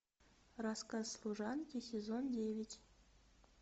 рассказ служанки сезон девять